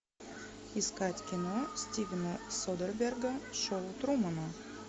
искать кино стивена содерберга шоу трумана